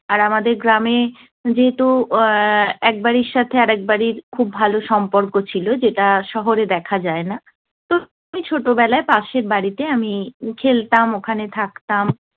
আর আমাদের গ্রামে যেহেতু এর এক বাড়ির সাথে আরেক বাড়ির খুব ভালো সম্পর্ক ছিল, যেটা শহরে দেখা যায় না, তো খুবই ছোটবেলায় পাশের বাড়িতে আমি খেলতাম, ওখানে থাকতাম।